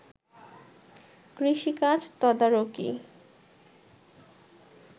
কৃষিকাজ তদারকি